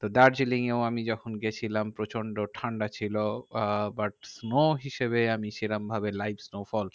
তো দার্জিলিং এও যখন আমি গেছিলাম প্রচন্ড ঠান্ডা ছিল। আহ but snow হিসেবে আমি সেরমভাবে live snowfall